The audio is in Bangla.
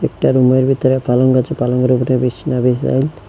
একটা রুমের ভিতরে পালঙ্ক আছে পালঙ্কের উপর বিছনা বিশাল।